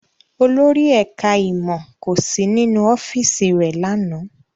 Olórí ẹ̀ká ìmọ̀ kò sí nínú ọ́fíìsì rẹ̀ lánàá